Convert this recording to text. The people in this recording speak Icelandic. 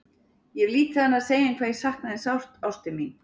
Ég hef lítið annað að segja en hvað ég sakna þín sárt, ástin mín.